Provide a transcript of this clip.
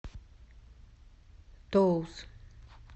тоус